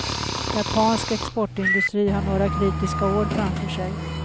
Japansk exportindustri har några kritiska år framför sig.